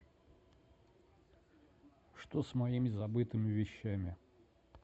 что с моими забытыми вещами